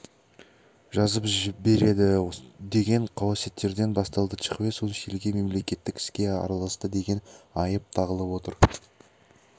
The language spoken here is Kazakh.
жазып береді деген қауесеттерден басталды чхве сун сильге мемлекеттік іске араласты деген айып тағылып отыр